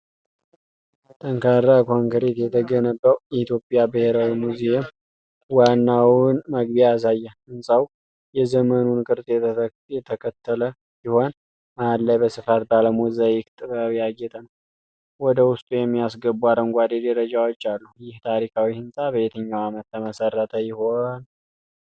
ጠንካራ ኮንክሪት የተገነባው የኢትዮጵያ ብሔራዊ ሙዚየም ዋናውን መግቢያ ያሳያል። ሕንፃው የዘመኑን ቅርፅ የተከተለ ሲሆን፣ መሃል ላይ በስፋት ባለ ሞዛይክ ጥበብ ያጌጠ ነው። ወደ ውስጡ የሚያስገቡ አረንጓዴ ደረጃዎች አሉ፤ ይህ ታሪካዊ ሕንፃ በየትኛው ዓመት ተመሰረተ ይሆን?